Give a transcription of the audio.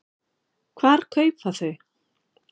Hvar kaupa þau?